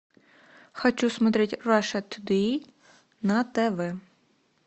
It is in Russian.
хочу смотреть раша тудей на тв